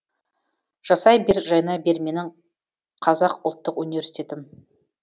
жасай бер жайнай бер менің қазақ ұлттық университетім